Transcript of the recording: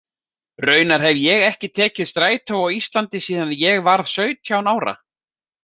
Raunar hef ég ekki tekið strætó á Íslandi síðan ég varð sautján ára.